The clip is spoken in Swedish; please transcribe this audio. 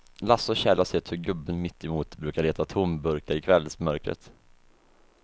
Lasse och Kjell har sett hur gubben mittemot brukar leta tomburkar i kvällsmörkret.